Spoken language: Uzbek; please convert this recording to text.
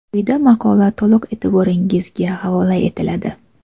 Quyida maqola to‘liq e’tirboringizga havola etiladi.